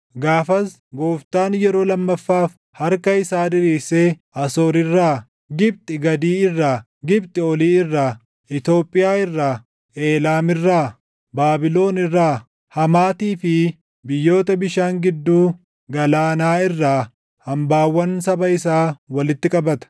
Gaafas Gooftaan yeroo lammaffaaf harka isaa diriirsee Asoor irraa, Gibxi Gadii irraa, Gibxi Olii irraa, Itoophiyaa irraa, Eelaam irraa, Baabilon irraa, Hamaatii fi biyyoota bishaan gidduu galaanaa irraa hambaawwan saba isaa walitti qabata.